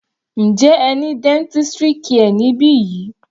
Njẹ́ ẹ ní dentistry care níbi yìí?